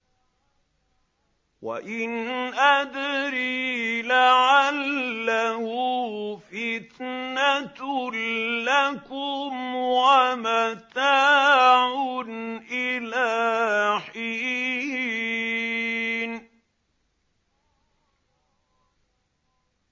وَإِنْ أَدْرِي لَعَلَّهُ فِتْنَةٌ لَّكُمْ وَمَتَاعٌ إِلَىٰ حِينٍ